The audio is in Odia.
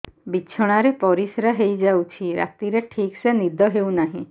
ବିଛଣା ରେ ପରିଶ୍ରା ହେଇ ଯାଉଛି ରାତିରେ ଠିକ ସେ ନିଦ ହେଉନାହିଁ